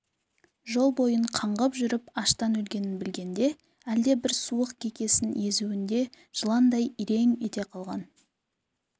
жол бойын қаңғып жүріп аштан өлгенін білгенде әлдебір суық кекесін езуінде жыландай ирең ете қалған